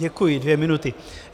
Děkuji, dvě minuty.